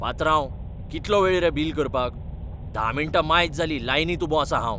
पात्रांव, कितलो वेळ रे बील करपाक. धा मिण्टां मायज जालीं लायनींत उबो आसा हांव.